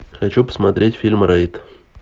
хочу посмотреть фильм рейд